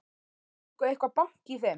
Var nokkuð eitthvað bank í þeim?